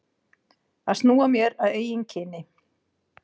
Að snúa mér að eigin kyni.